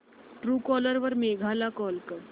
Truecaller वर मेघा ला call कर